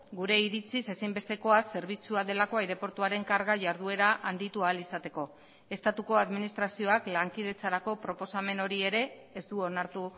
gure iritziz ezinbestekoa zerbitzua delako aireportuaren karga jarduera handitu ahal izateko estatuko administrazioak lankidetzarako proposamen hori ere ez du onartu